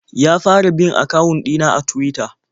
Ya fara bin akawun ɗina a Tuwita.